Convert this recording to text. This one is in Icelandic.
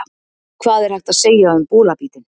Hvað er hægt að segja um bolabítinn?